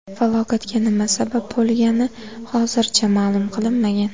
Falokatga nima sabab bo‘lgani hozircha ma’lum qilinmagan.